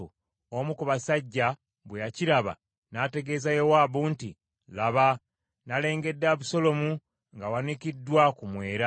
Omu ku basajja bwe yakiraba n’ategeeza Yowaabu nti, “Laba nnalengedde Abusaalomu ng’awanikiddwa ku mwera.”